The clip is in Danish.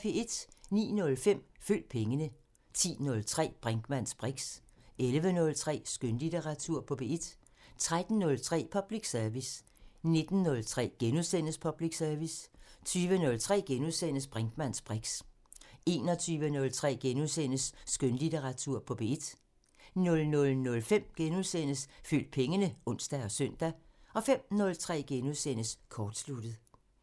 09:05: Følg pengene 10:03: Brinkmanns briks 11:03: Skønlitteratur på P1 13:03: Public Service 19:03: Public Service * 20:03: Brinkmanns briks * 21:03: Skønlitteratur på P1 * 00:05: Følg pengene *(ons og søn) 05:03: Kortsluttet *